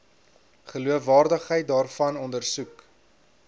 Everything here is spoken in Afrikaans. geloofwaardigheid daarvan ondersoek